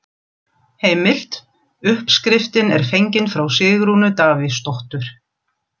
Heimild: Uppskriftin er fengin frá Sigrúnu Davíðsdóttur.